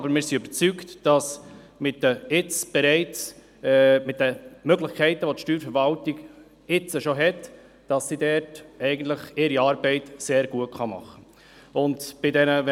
Aber wir sind überzeugt, dass die Steuerverwaltung mit den Möglichkeiten, die sie bereits hat, ihre Arbeit sehr gut machen kann.